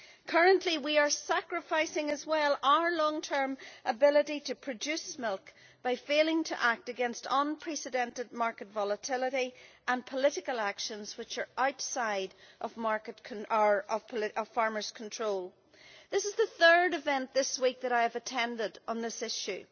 Currently, we are sacrificing as well our long term ability to produce milk by failing to act against unprecedented market volatility and political actions which are outside of farmers' control. This is the third event this week that I have attended on this issue.